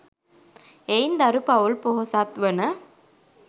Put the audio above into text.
එයින් දරු පවුල් පොහොසත්වන